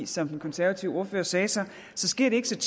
som den konservative ordfører sagde så så sker det ikke så